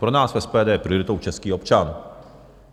Pro nás v SPD je prioritou český občan.